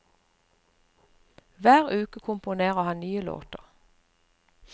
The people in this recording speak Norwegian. Hver uke komponere han nye låter.